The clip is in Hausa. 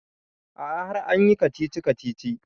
A'a har an yi kacici-kacici